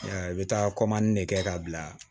I bɛ taa kɔmanin de kɛ ka bila